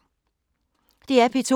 DR P2